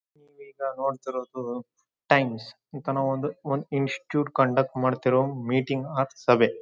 ಈಗ ನೋಡ್ತಿರೋದು ಟೈಮ್ಸ್ ಈತನು ಒಂದು ಒಂದು ಇನ್ಸ್ಟಿಟ್ಯೂಟ್ ಕಂಡಕ್ಟ್ ಮಾಡ್ತಿರುವಂತ ಮೀಟಿಂಗ್ ಆರ್ ಸಭೆ.